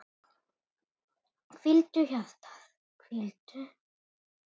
Hvíldu, hjarta, hvíldu.